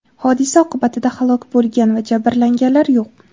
Hodisa oqibatida halok bo‘lgan va jabrlanganlar yo‘q.